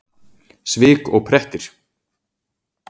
Svik og prettir!